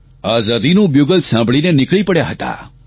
આઝાદીનું bugle સાંભળીને નીકળી પડ્યા હતા